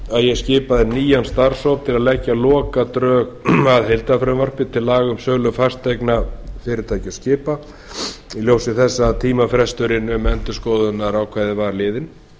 ég skipaði nýjan starfshóp til að leggja lokadrög að heildarfrumvarpi til laga um sölu fasteigna fyrirtækja og skipa í ljósi þess að tímafresturinn um endurskoðunarákvæðið var liðinn